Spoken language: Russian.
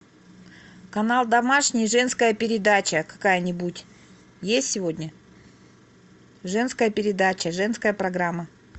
канал домашний женская передача какая нибудь есть сегодня женская передача женская программа